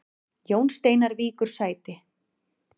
Jón Steinar víkur sæti